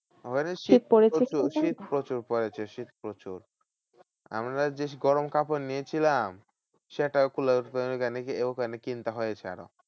ওখানে শীত প্রচুর শীত প্রচুর পড়েছে শীত প্রচুর। আমরা বেশি গরম কাপড় নিয়েছিলাম। সেটা কুলায় ওখানে গিয়ে ওখানে কিনতে হয়েছে আরো।